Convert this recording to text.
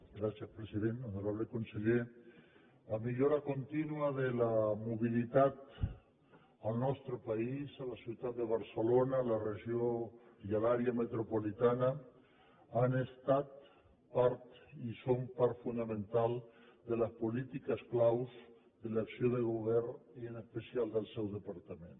gràcies president honorable conseller la millora contínua de la mobilitat al nostre país a la ciutat de barcelona a la regió i a l’àrea metropolitana han estat part i són part fonamental de les polítiques claus de l’acció de govern i en especial del seu departament